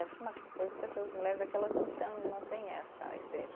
Essa é uma coisa que essas mulheres é que elas não estão, não têm essa experiência.